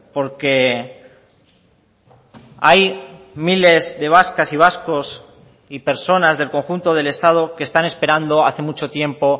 porque hay miles de vascas y vascos y personas del conjunto del estado que están esperando hace mucho tiempo